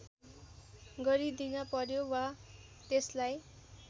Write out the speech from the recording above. गरिदिन पर्‍यो वा त्यसलाई